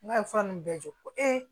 N'a ye fura nunnu bɛɛ jɔ ko